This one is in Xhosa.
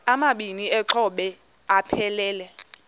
amabini exhobe aphelela